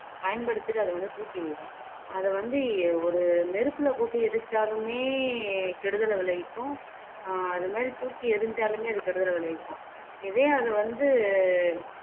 பயன்படுத்திட்டு அத வந்து தூக்கி எறியறோம் அத வந்து ஒரு நெருப்புல போட்டு எரிச்சாலுமே கெடுதலை விளைவிக்கும் அது மாதிரி தூக்கி எறிஞ்சாலுமே அது கெடுதல் விளைவிக்கும் இதே அது வந்து